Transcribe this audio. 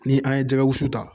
Ni an ye jɛgɛ wusu ta